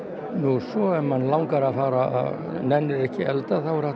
svo ef maður nennir ekki að elda þá er hægt að